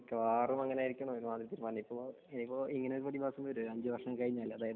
മിക്കവാറും അങ്ങനെ ആയിരിക്കും ഇനിയിപ്പോ ഇങ്ങനെ ഒരു പ്രതിഭാസം വരുമോ അഞ്ചു വര്ഷം കഴിഞ്ഞാൽ